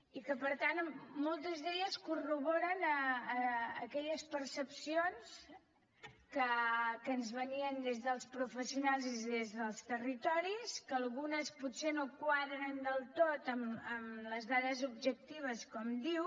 i per tant moltes corroboren aquelles percepcions que ens venien des dels professionals i des dels territoris que algunes potser no quadren del tot amb les dades objectives com diu